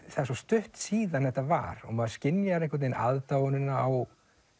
svo stutt síðan þetta var og maður skynjar einhvern veginn aðdáunina á